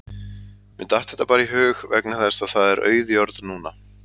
Mér datt þetta bara í hug vegna þess að það er auð jörð núna